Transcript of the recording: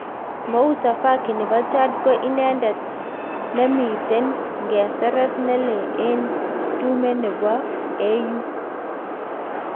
Moussa faki nepo chad ko idetet ne miten ngeseret nelee en tume nepo AU